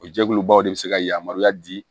O jɛkulubaw de bɛ se ka yamaruya di